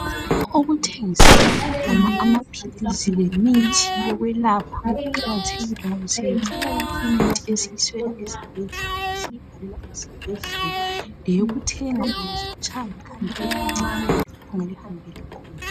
Okuthengiselwa khona amaphilisi lemithi yokwelapha, kuqakathekile, ngoba siyayithola yonke imithi esiyiswela esibhedlela. Leyokuthenga nxa utshaywa likhanda elincane. Ongalihambela khona.